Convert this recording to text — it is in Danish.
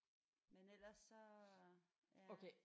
Men ellers så ja